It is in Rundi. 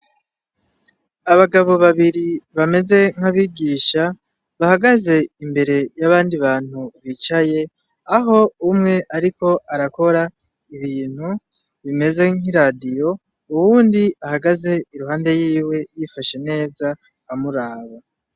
Abagabo babiri bameze nk'abigisha bahagaze imbere y'abandi bantu bicaye, aho umwe ariko arakora ibintu bimeze nk'iradiyo , uwundi ahagaze iruhande yiwe yifashe neza amuraba.